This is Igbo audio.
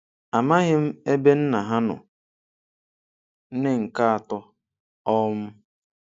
Amaghị m ebe nna ha nọ - Nne nke atọ um